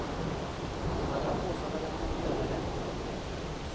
Jag har påstått att den borde göra det.